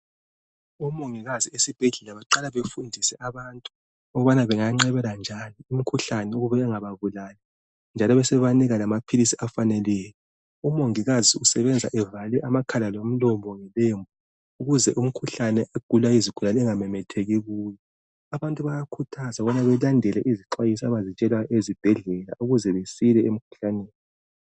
Omongikazi esibhedlela baqala bafundise abantu ukubana benganqabela njani imkhuhlane ukuze ingababulali njalo besebebanika lamaphilisi afaneleyo. Umongikazi usebenza evale amakhala lomlomo ngoba ukuze umkhuhlane ogulwa izigulane ungamemmetheki kuye. Abantu bayakhuthazwa ukuthi belandele izixwayiso abazitshelwa ezibhedlela ukuze besike emkhuhlaneni.